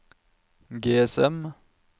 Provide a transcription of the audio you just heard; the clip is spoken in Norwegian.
GSM